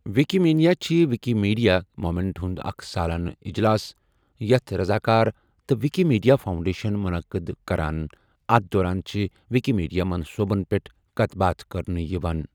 Wikimania چھِ Wikimedia movement ہُنٛد اَکھ سالانہٕ اِجلاس، یَتھ رَضاکار تہٕ وِکیٖمیٖڈیا فاوٗنڈیشَن مُنَقٕد کَران اَتھ دوران چھِ وِکیٖمیٖڈیا مَنصوبَن پؠٹھ کَتھ باتھ کَرنہٕ یِوان۔